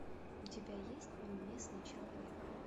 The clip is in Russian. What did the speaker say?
у тебя есть неуместный человек